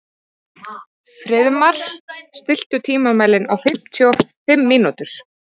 Friðmar, stilltu tímamælinn á fimmtíu og fimm mínútur.